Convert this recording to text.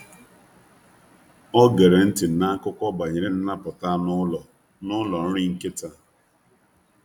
Ọ gera ntị n’akụkọ banyere nnapụta anụ ụlọ n’ụlọ nri nkịta.